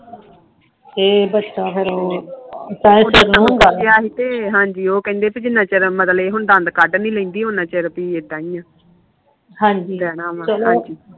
ਬਚੇ ਉਹ ਕਹਿੰਦੇ ਜਿੰਨਾ ਚਿਰ ਮਤਲਬ ਦੰਦ ਕੱਢ ਨੀ ਲੈਂਦੀ ਉਹਨੀ ਚਿਰ ਇਦਾ ਹੀ ਰਹਿਣਾ ਆ